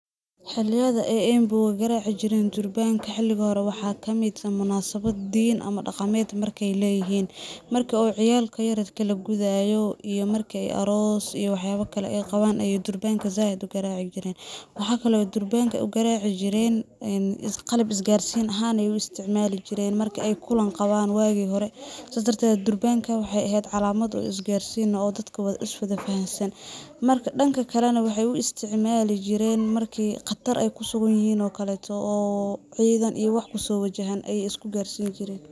Xilliyada ay Embu-ga garaaci jireen durbaanka xilligi hore , waxa kamid ah xiliga munsabad diin ama dhaqameed markey leyihiin .Marka oo ciyalka yaryarka la gudaayo iyo marka aroos iyo waxyaaba kale ay qawaan ayaa durbaanka zaaid u garaaci jireen ,waxa kale oo ay durbanka u garaaci jireen een qalab is-garsiin ahaan ayey u isticmaali jireen ,marka ay kulan qawaan waagi hore Sidaas darteed durbaanka waxey eheed calamad is garsiin ah oo dadka is-wada fahansan ,marka dhanka kale na waxey u isticmaali jireen markii khatar ay ku sugan yihiin oo kaleeto oo ciidan iyo wax kusoo wajahan ayey isku garsiin jireen .